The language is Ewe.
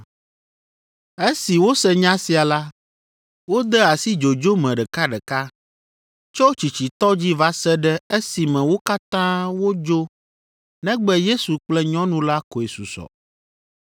Esi wose nya sia la, wode asi dzodzo me ɖekaɖeka, tso tsitsitɔ dzi va se ɖe esime wo katã wodzo negbe Yesu kple nyɔnu la koe susɔ.